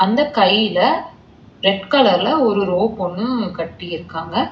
அந்த கைல ரெட் கலர்ல ஒரு ரோப் ஒன்னு கட்டி இருக்காங்க.